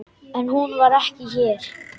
En hún var ekki hér.